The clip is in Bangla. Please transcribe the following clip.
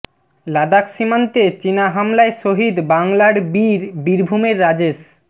লাদাখ সীমান্তে চীনা হামলায় শহীদ বাংলার বীর বীরভূমের রাজেশ